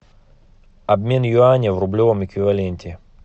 обмен юаня в рублевом эквиваленте